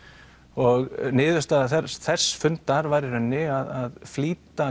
og niðurstaða þess fundar var í rauninni að flýta